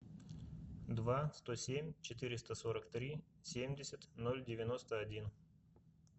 два сто семь четыреста сорок три семьдесят ноль девяносто один